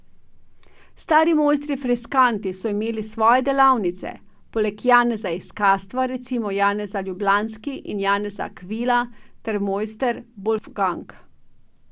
Stari mojstri freskanti so imeli svoje delavnice, poleg Janeza iz Kastva recimo Janez Ljubljanski in Janez Akvila ter Mojster Bolfgang.